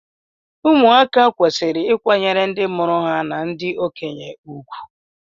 ụmụaka kwesịrị ịkwanyere ndị mụrụ ha na ndị okenye ùgwù